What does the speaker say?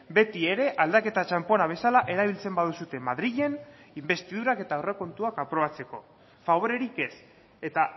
beti ere aldaketa txanpona bezala erabiltzen baduzue madrilen inbestidurak eta aurrekontuak aprobatzeko faborerik ez eta